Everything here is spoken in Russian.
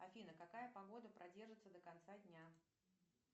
афина какая погода продержится до конца дня